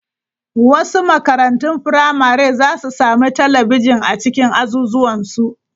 Wasu makarantun firamare za su sami talabijin a cikin azuzuwan su.